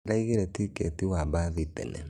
Ndĩraigĩre tiketi wa mbathi tene